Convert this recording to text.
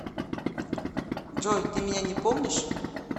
джой ты меня не помнишь